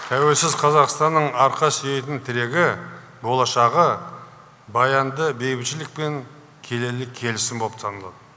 тәуелсіз қазақстанның арқа сүйейтін тірегі болашағы баянды бейбітшілік пен келелі келісім болып табылады